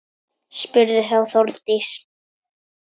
Spurði þá Þórdís: